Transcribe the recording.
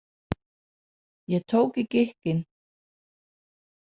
Ég tók í gikkinn.